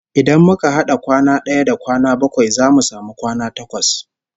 Idan muka had'a kwana d'aya da kwana bakwai zamu samu kwana takwas